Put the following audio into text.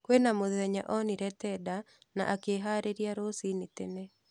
Kwĩna mũthenya onire tenda na akĩharĩria rũcinĩ tene